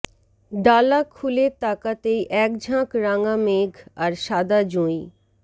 ডালা খুলে তাকাতেই একঝাঁক রাঙা মেঘ আর শাদা জুঁই